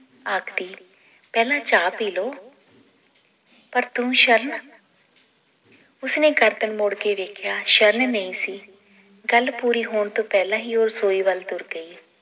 ਆਖਦੀ ਪਹਿਲਾਂ ਚਾਅ ਪੀਲੋ ਪਰ ਤੂੰ ਸ਼ਰਨ ਉਸਨੇ ਗਰਦਨ ਮੋੜ ਕੇ ਵੇਖਿਆ ਸ਼ਰਨ ਨਈ ਸੀ ਗੱਲ ਪੂਰੀ ਹੋਣ ਤੋਂ ਪਹਿਲਾਂ ਹੀ ਉਹ ਰਸੋਈ ਵੱਲ ਤੁਰ ਗਈ